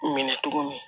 Minɛ tuguni